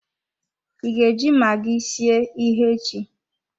I ga eji magi sie ihe echi?